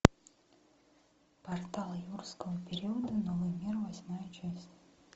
портал юрского периода новый мир восьмая часть